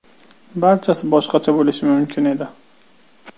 Barchasi boshqacha bo‘lishi mumkin edi.